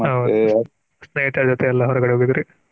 ಹ ಸ್ನೇಹಿತರ ಜೊತೆ ಎಲ್ಲ ಹೊರಗಡೆ ಹೋಗಿದಿರಿ.